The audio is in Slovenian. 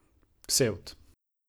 Ksevt.